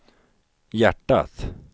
hjärtat